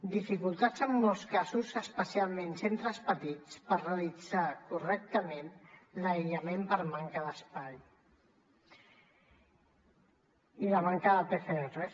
dificultats en molts casos especialment en centres petits per realitzar correctament l’aïllament per manca d’espai i la manca de pcrs